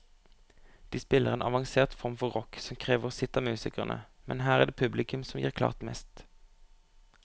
De spiller en avansert form for rock som krever sitt av musikerne, men her er det publikum som gir klart mest.